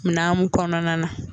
Mina mun kɔnɔna na